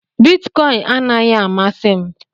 Bitikoin anaghị amasị m